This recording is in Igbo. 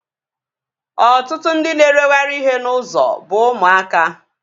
Ọtụtụ ndị na-ereghari ihe n'ụzọ bụ ụmụaka